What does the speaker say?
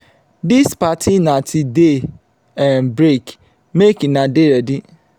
dis party na till day um break make una dey ready.